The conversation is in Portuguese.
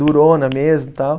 Durona mesmo e tal.